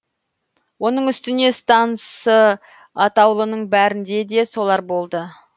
оның үстіне стансы атаулының бәрінде де солар болды